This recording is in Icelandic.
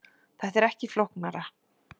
Þetta er ekki flóknara